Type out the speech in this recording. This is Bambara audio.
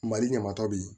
Mali ɲamatɔ bɛ yen